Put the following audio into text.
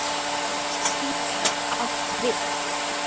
Orðið sítar átt við